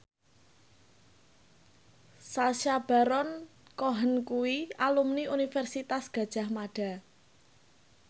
Sacha Baron Cohen kuwi alumni Universitas Gadjah Mada